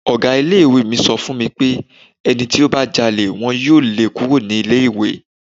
Ọ̀gá ilé ìwé mi sòfin pé ẹni tí ó bá jalè wọn yóò lé e kúrò ní ilé ìwé.